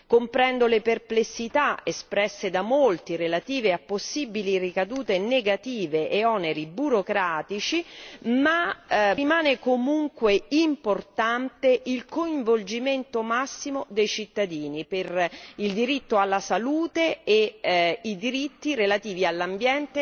Comprendo le perplessità espresse da molti relative a possibili ricadute negative e oneri burocratici ma rimane comunque importante il coinvolgimento massimo dei cittadini per il diritto alla salute e i diritti relativi all'ambiente e al paesaggio.